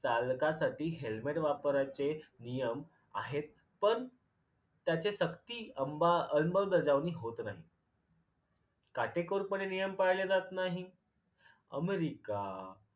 चालकासाठी helmet वापरायचे नियम आहेत पण त्याचे सक्ती अंबा अंमलबजावणी होत नाही. काटेकोरपणे नियम पाळले जात नाहीत. अमरिका